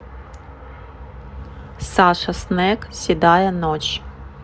саша снек седая ночь